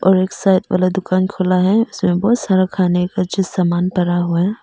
और एक साइड वाला दुकान खुला है उसमें बहोत सारा खाने का चीज सामान भरा हुआ है।